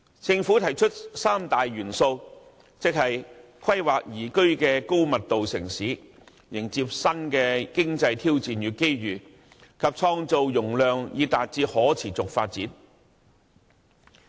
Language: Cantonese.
政府提出三大元素，即規劃宜居的高密度城市、迎接新的經濟挑戰與機遇，以及創造容量以達致可持續發展。